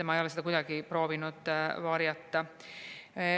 Ma ei ole seda kunagi proovinud varjata.